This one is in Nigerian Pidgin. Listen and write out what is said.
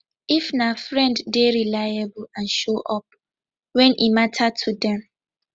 if na friend dey reliable and show up when e matter to them